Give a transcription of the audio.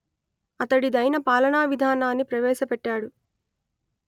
అతడిదైన పాలనా విధానాన్ని ప్రవేశపెట్టాడు